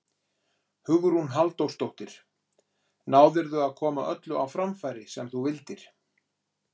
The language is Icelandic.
Hugrún Halldórsdóttir: Náðirðu að koma öllu á framfæri sem þú vildir?